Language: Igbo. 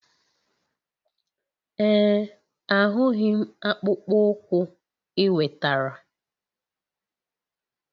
Ee, ahụghị m akpụkpọ ụkwụ ị wetara.